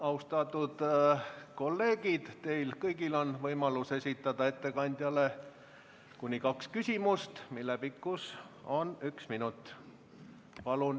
Austatud kolleegid, teil kõigil on võimalus esitada ettekandjale kuni kaks küsimust, mille pikkus on üks minut.